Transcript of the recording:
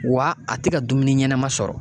Wa a te ka dumuni ɲɛnɛma sɔrɔ